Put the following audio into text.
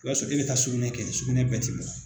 I b'a sɔrɔ e bɛ taa sugɛnɛ kɛ bɛɛ tɛ bɔ.